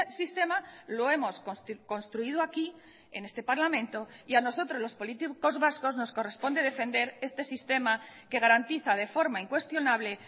sistema lo hemos construido aquí en este parlamento y a nosotros los políticos vascos nos corresponde defender este sistema que garantiza de forma incuestionable